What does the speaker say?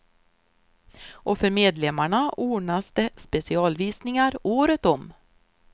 Och för medlemmarna ordnas det specialvisningar året om.